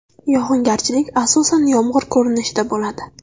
Yog‘ingarchilik asosan yomg‘ir ko‘rinishida bo‘ladi.